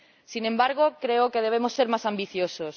Sin embargo, creo que debemos ser más ambiciosos.